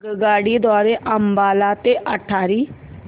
आगगाडी द्वारे अंबाला ते अटारी